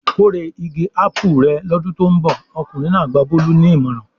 "Kórè igi ápù rẹ̀ lọ́dún tó ń bọ̀!" Ọkùnrin náà gba Bọ́lá ní ìmọ̀ràn.